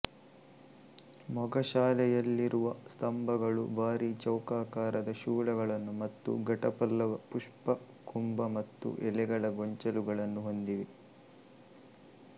ಮೊಗಶಾಲೆಯಲ್ಲಿರುವ ಸ್ತಂಭಗಳು ಭಾರಿ ಚೌಕಾಕಾರದ ಶೂಲಗಳನ್ನು ಮತ್ತು ಘಟಪಲ್ಲವ ಪುಷ್ಪಕುಂಭ ಮತ್ತು ಎಲೆಗಳ ಗೊಂಚಲುಗಳನ್ನು ಹೊಂದಿವೆ